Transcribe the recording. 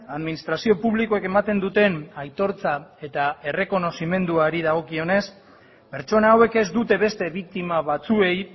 administrazio publikoek ematen duten aitortza eta errekonozimenduari dagokionez pertsona hauek ez dute beste biktima batzuei